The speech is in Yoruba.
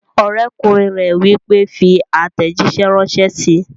Ọ̀rẹ́kùnrin rẹ̀ wí pé, "fi àtẹ̀jísẹ́ ránṣẹ́ síi!"